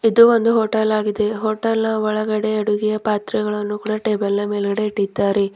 ಇದು ಒಂದು ಹೋಟೆಲ್ ಆಗಿದೆ ಹೋಟೆಲ್ ಒಳಗಡೆ ಅಡುಗೆ ಪಾತ್ರಗಳನ್ನು ಕೂಡ ಟೇಬಲ್ ನ ಮೇಲ್ಗಡೆ ಇಟ್ಟಿದ್ದಾರೆ.